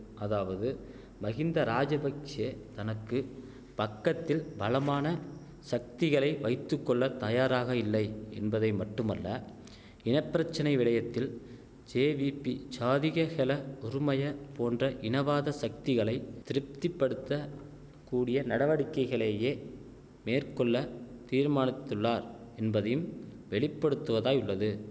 அதாவது மகிந்தராஜபக்ஷெ தனக்கு பக்கத்தில் பலமான சக்திகளை வைத்து கொள்ள தயாராக இல்லை என்பதைமட்டுமல்ல இன பிரச்சனை விடயத்தில் ஜேவீபி ஜாதிக ஹெல உறுமய போன்ற இனவாத சக்திகளை திருப்திப்படுத்த கூடிய நடவடிக்கைகளேயே மேற்கொள்ள தீர்மானித்துள்ளார் என்பதையும் வெளிப்படுத்துவதாய் உள்ளது